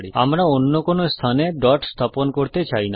আমরা অন্য কোন স্থানে ডট স্থাপন করতে চাই না